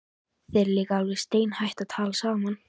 Þið eruð líka alveg steinhætt að tala saman.